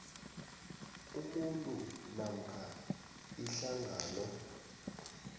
umuntu namkha ihlangano